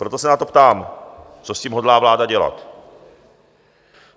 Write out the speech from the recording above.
Proto se na to ptám, co s tím hodlá vláda dělat.